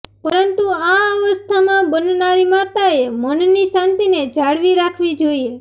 પરંતુ આ અવસ્થામાં બનનારી માતાએ મનની શાંતિને જાળવી રાખવી જોઇએ